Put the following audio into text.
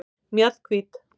Mjallhvít